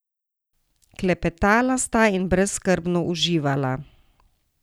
Klepetala sta in brezskrbno uživala.